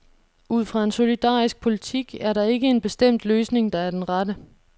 Ud fra en solidarisk politik er der ikke en bestemt løsning, der er den rette.